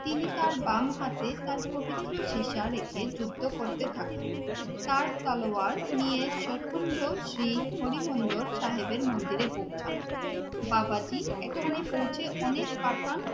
তিনি তার বাম হাতে তার পবিত্র সীসা রেখে যুদ্ধ করতে থাকেন। তার তলোয়ার নিয়ে সখীন্দর সিং হরি মন্দর সাহেবের মন্দিরে পৌঁছান। বাবাজি এখানে পৌঁছে অনেক পাঠান